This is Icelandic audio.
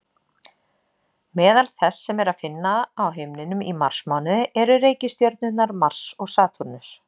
Meðal þess sem er að finna á himninum í marsmánuði eru reikistjörnurnar Mars og Satúrnus.